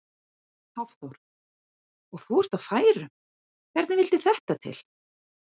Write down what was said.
Hafþór: Og þú ert á færum, hvernig vildi þetta til?